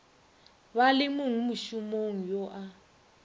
ba le mongmošomo yo a